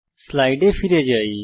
স্লাইডে ফিরে আসি